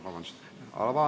Vabandust!